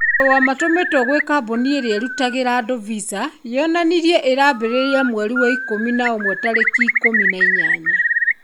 Marua matũmitwe kwĩ kambũni irĩa irutagira andũ visa yonanirie irambĩrĩria mweri wa Ikumi na Umwe tariki ikũmi na inyanya